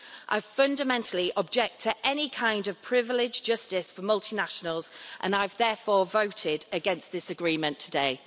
I fundamentally object to any kind of privileged justice for multinationals and I therefore voted against this agreement today.